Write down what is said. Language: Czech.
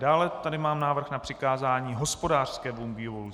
Dále tady mám návrh na přikázání hospodářskému výboru.